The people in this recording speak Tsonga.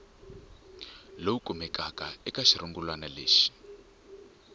lowu kumekaka eka xirungulwana lexi